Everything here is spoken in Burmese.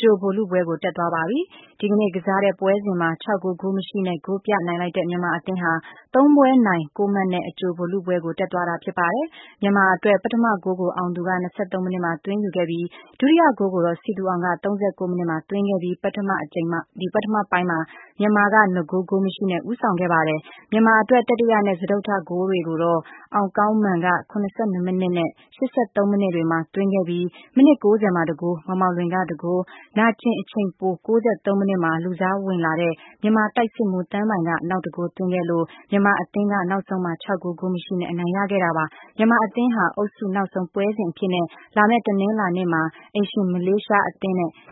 ကြိုဗိုလ်လုပွဲကို တက်သွားပြီဖြစ်ပါတယ်။ မြန်မာ နဲ့ ဘရူနိုင်းအသင်းတို့ ဒီကနေ့ ကစားကြတာမှာ မြန်မာက ၆ ဂိုး ဂိုးမရှိ နဲ့ ဂိုးပြတ်နိုင်ပြီး အနိုင်ရပြီး မြန်မာအသင်းဟာ ၃ ပွဲ နိုင် ၉ မှတ် နဲ့ အကြိုဗိုလ်လုပွဲကို တက်သွားတာဖြစ်ပါတယ်။ မြန်မာအတွက် ပထမဂိုးကို အောင်သူက ၂၃ မိနစ်မှာ သွင်းယူခဲ့ပြီး၊ ဒုတိယဂိုးကိုတော့ စည်သူအောင်က ၃၉ မိနစ်မှာ သွင်းခဲ့တာပါ။ ဒါကြောင့် ပထမပိုင်းမှာ မြန်မာက ၂ ဂိုး ဂိုးမရှိ နဲ့ ဦးဆောင်ခဲ့ပါတယ်။ မြန်မာအတွက် တတိယ နဲ့ စတုတ္ထဂိုးတွေကိုတော့ အောင်းကောင်းမာန်က ၇၂ မိနစ် နဲ့ ၈၃ မိနစ်တွေမှာ သွင်းခဲ့ပြီး၊ မိနစ် ၉၀ မှာ တဂိုးမောင်မောင်လွင်က ၁ ဂိုး ၊ နာကျင်အချိန်ပို ၉၃ မိနစ်မှာ လူစားဝင်လာတဲ့ မြန်မာတိုက်စစ်မှူး သန်းပိုင်က နောက်တဂိုးသွင်းခဲ့လို့ ၊ မြန်မာအသင်းက နောက်ဆုံးမှာ ၆ ဂိုး ဂိုးမရှိ နဲ့ အနိုင်ရသွားပါတယ်။ မြန်မာအသင်း ဟာ သြဂုတ်လ ၂၁ ရက်နေ့မှာတော့ အုပ်စုနောက်ဆုံး ပွဲစဉ်အဖြစ်နဲ့ အိမ်ရှင်မလေးရှားအသင်း နဲ့ က